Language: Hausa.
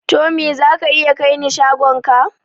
Tommy za ka iya kai ni shagon ka?